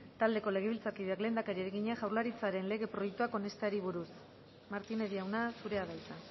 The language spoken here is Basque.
taldeko legebiltzarkideak lehendakariari egina jaurlaritzaren lege proiektuak onesteari buruz martínez jauna zurea da hitza